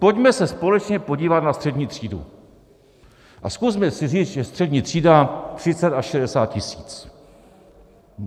Pojďme se společně podívat na střední třídu a zkusme si říct, že střední třída 30 až 60 tisíc.